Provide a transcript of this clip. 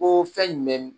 Ko fɛn jumɛn